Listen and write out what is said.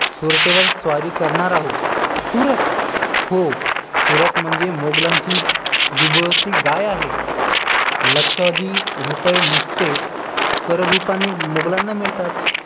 सुरतेवर स्वारी करणार आहोत सुरत? हो, सुरत म्हणजे मुघलांची दुभती गाय आहे लक्षावधी रूपये नुसते कर रूपाने मुघलांना मिळतात